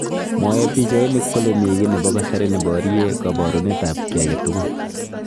Mwae pichainik kole mi ki nebo kasari neborye kaborunet ab ki age tugul.